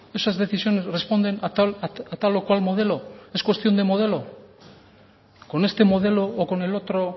esas decisiones responden a tal o cual modelo es cuestión de modelo con este modelo o con el otro